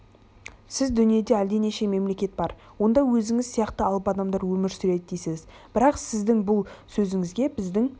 сіз дүниеде әлденеше мемлекет бар онда өзіңіз сияқты алып адамдар өмір сүреді дейсіз бірақ сіздің бұл сөзіңізге біздің